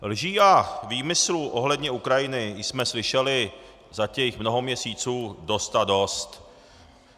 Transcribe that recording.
Lží a výmyslů ohledně Ukrajiny jsme slyšeli za těch mnoho měsíců dost a dost.